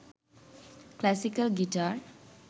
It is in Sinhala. classical guitar